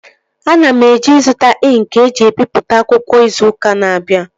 Ana m eje ịzụta ịnkị eji ebipụta akwụkwọ izu ụka na-abịa